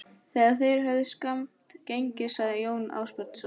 Þegar þeir höfðu skammt gengið sagði Jón Ásbjarnarson